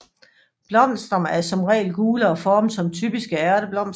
Blomsterne er som regel gule og formet som typiske ærteblomster